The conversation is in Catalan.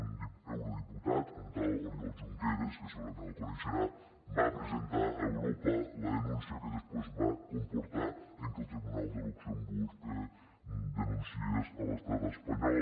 un eurodiputat un tal oriol junqueras que segurament el coneixerà va presentar a europa la denúncia que després va comportar que el tribunal de luxemburg denunciés l’estat espanyol